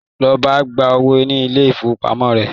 Lọ gba owó ní ilé-ìfowópamọ́.